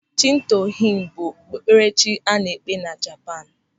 Shintoizm bụ okpukperechi a na-ekpe na Japaanu.